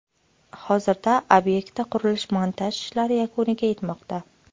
Hozirda obyektda qurilish-montaj ishlari yakuniga yetmoqda.